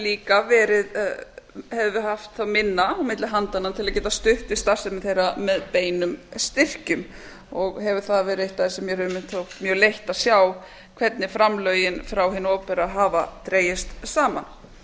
líka haft minna milli handanna til að geta stutt við starfsemi þeirra með beinum styrkjum og hefur það verið eitt af því sem mér hefur einmitt þótt mjög leitt að sjá hvernig framlögin frá hinu opinbera hafa dregist saman